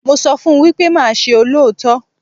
Mo sọ fún wípé máa ṣe olóòótọ́.